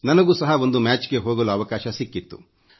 ನನಗೂ ಸಹ ಒಂದು ಮ್ಯಾಚ್ ಗೆ ಹೋಗಲು ಅವಕಾಶ ಸಿಕ್ಕಿತ್ತು